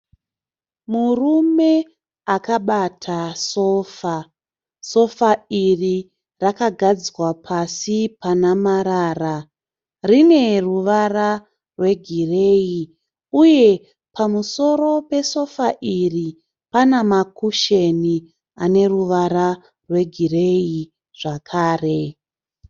Murume akabata sofa. Sofa iri rakagadzwa pasi pana marara. Rine ruvara rwegireyi uye pamusoro pesofa iri pana makusheni ane ruvara rwegireyi zvakare.